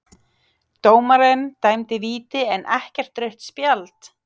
Dómarinn dæmdi víti en ekkert rautt spjald?